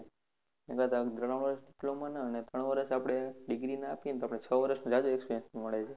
એના કરતા ત્રણ વર્ષ diploma માં ના અને ત્રણ વર્ષ આપણે degree ના આપીએ તો આપણે છ વર્ષનો જાજો experience મળે છે.